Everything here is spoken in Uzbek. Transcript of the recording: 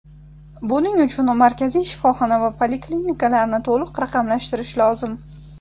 Buning uchun markaziy shifoxona va poliklinikalarni to‘liq raqamlashtirish lozim.